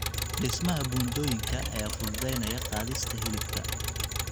Dhismaha buundooyinka ayaa fududeynaya qaadista hilibka.